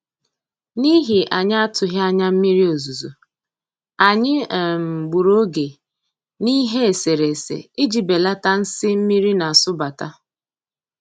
N'ihi anyị atụghị anya mmiri ozuzo, anyị um gburu oge n'ihe eserese iji belata nsi mmiri na-asụbata